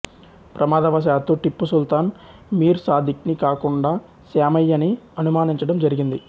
ప్రమాదవశాత్తు టిప్పు సుల్తాన్ మీర్ సాదిక్ ని కాకుండా శ్యామయ్యని అనుమానించడం జరిగింది